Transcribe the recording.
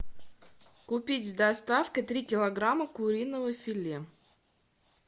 купить с доставкой три килограмма куриного филе